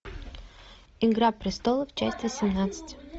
игра престолов часть восемнадцать